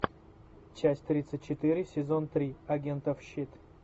часть тридцать четыре сезон три агентов щит